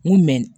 N ko